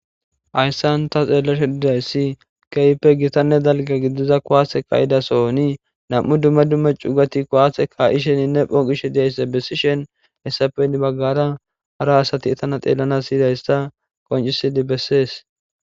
Hayissan taa xellashshi dizayissi ,kehippe gitanne dalgga gidizza kuwase ka'iza so'onni nam'cu dumma dumma cugati kuwase kaa'ishshenne phoqishshe dizayissa besishshenni hessappe heni bagara hara asati etanne xellanasi yizayissa qoniccisidi besses.